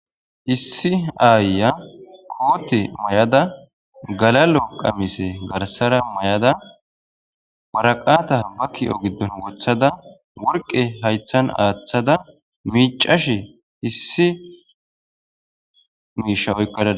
Issi aayiya koote mayada garsara galal'o qamisa mayada,waraqata ba kii'o giddon wothada,worqqe hayththan aathada miicashe issi oyqada dawus.